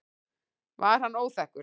Var hann óþekkur?